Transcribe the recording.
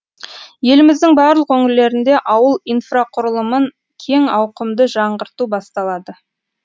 еліміздің барлық өңірлерінде ауыл инфрақұрылымын кең ауқымды жаңғырту басталады